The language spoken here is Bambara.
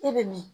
E bɛ min